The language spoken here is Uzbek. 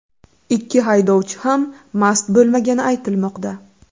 Ikki haydovchi ham mast bo‘lmagani aytilmoqda.